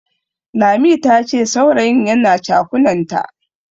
Lami tace saurayin yana chakunanta.